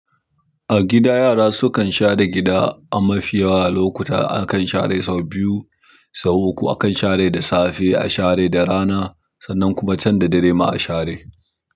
A gida yara sukan share gida a mafi yawan lokuta akan share sau biyu, sau uku akan share da safe, a share da rana sannan kuma can da dare ma a share.